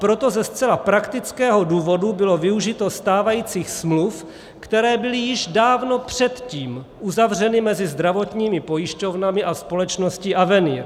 Proto ze zcela praktického důvodu bylo využito stávajících smluv, které byly již dávno předtím uzavřeny mezi zdravotními pojišťovnami a společností Avenier.